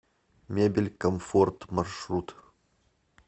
мебель комфорт маршрут